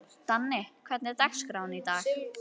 Danni, hvernig er dagskráin í dag?